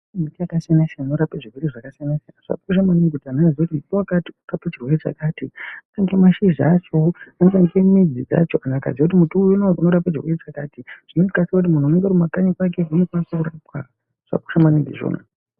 Miti yaka siyana siyana inorape zvirwere zvaka siyana siyana zvakakosha maningi kuti anhu aziye kuti muti wakati unorape chirwere chakati unga mashizha achowo anoshandisa midzi dzacho kana akaziye kuti muti unowu unorapa chirwere chakati zvinondo kasika kuti muntu unenge uri ku makanyi kwake unokwanisa kurapwa zvakakosha maningi izvona.